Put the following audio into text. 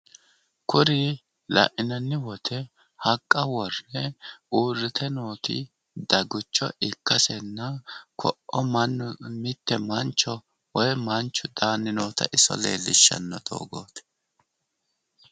Kuri lainanni wote haqqa worre uurite nooti dagucho ikkasenna ko'o mannu mitte mancho woy manchu daanni noota iso leellishshanno doogooti